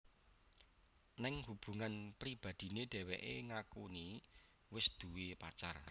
Ning hubungan pribadiné dheweké ngakuni wis duwé pacar